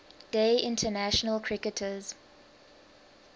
day international cricketers